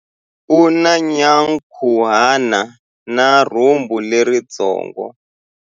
U na nyankhuhana na rhumbu leritsongo.